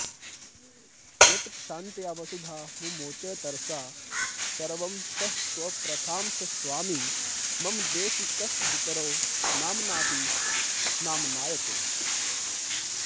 यत्क्षान्त्या वसुधा मुमोच तरसा सर्वंसहत्वप्रथां स स्वामी मम देशिकस्तदितरो नाम्नाऽपि नाम्नायते